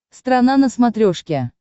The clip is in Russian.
страна на смотрешке